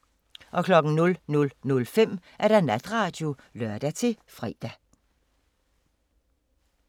00:05: Natradio (lør-fre)